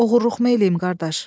Oğurluqmu eləyim, qardaş?